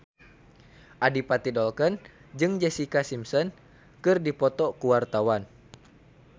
Adipati Dolken jeung Jessica Simpson keur dipoto ku wartawan